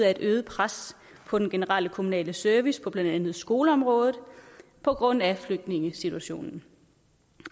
af et øget pres på den generelle kommunale service på blandt andet skoleområdet på grund af flygtningesituationen